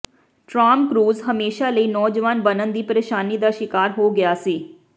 Tom Cruise ਹਮੇਸ਼ਾ ਲਈ ਨੌਜਵਾਨ ਬਣਨ ਦੀ ਪ੍ਰੇਸ਼ਾਨੀ ਦਾ ਸ਼ਿਕਾਰ ਹੋ ਗਿਆ ਸੀ